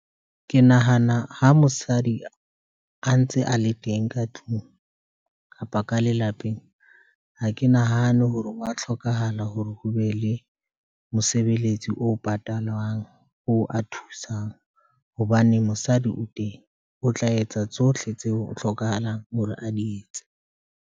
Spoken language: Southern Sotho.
Ke nahana ha mosadi a ntse a le teng ka tlung kapa ka lelapeng, ha ke nahane hore wa hlokahala hore ho be le mosebeletsi o patalwang, o a thusang. Hobane mosadi o teng o tla etsa tsohle tseo o hlokahalang hore a di etse.